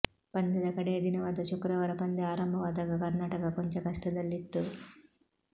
ಪಂದ್ಯದ ಕಡೆಯ ದಿನವಾದ ಶುಕ್ರವಾರ ಪಂದ್ಯ ಆರಂಭವಾದಾಗ ಕರ್ನಾಟಕ ಕೊಂಚ ಕಷ್ಟದಲ್ಲಿತ್ತು